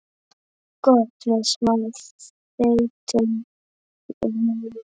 Gott með smá þeyttum rjóma.